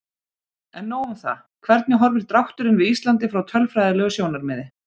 En nóg um það, hvernig horfir drátturinn við Íslandi frá tölfræðilegu sjónarmiði?